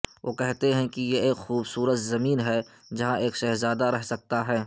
وہ کہتے ہیں کہ یہ ایک خوبصورت زمین ہے جہاں ایک شہزادہ رہ سکتا ہے